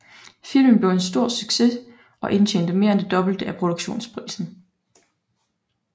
Filmen blev en stor succes og indtjente mere end det dobbelte af produktionsprisen